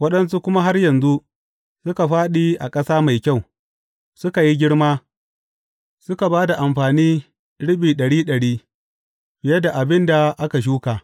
Waɗansu kuma har yanzu, suka fāɗi a ƙasa mai kyau, suka yi girma, suka ba da amfani riɓi ɗari ɗari, fiye da abin da aka shuka.